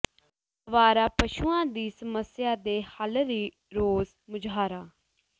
ਆਵਾਰਾ ਪਸ਼ੂਆਂ ਦੀ ਸਮੱਸਿਆ ਦੇ ਹੱਲ ਲਈ ਰੋਸ ਮੁਜ਼ਾਹਰਾ